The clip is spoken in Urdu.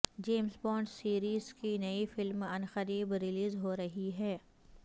جیمز بانڈ سیریز کی نئی فلم عنقریب ریلیز ہو رہی ہے